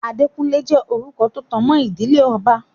Adékúnlé jẹ́ orúkọ tó tanmọ́ ìdílé ọba.